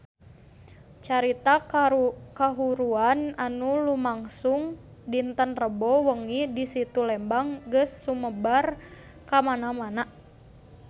Carita kahuruan anu lumangsung dinten Rebo wengi di Situ Lembang geus sumebar kamana-mana